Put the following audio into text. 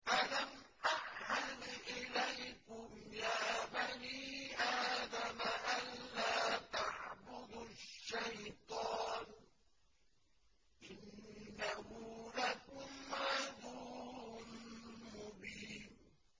۞ أَلَمْ أَعْهَدْ إِلَيْكُمْ يَا بَنِي آدَمَ أَن لَّا تَعْبُدُوا الشَّيْطَانَ ۖ إِنَّهُ لَكُمْ عَدُوٌّ مُّبِينٌ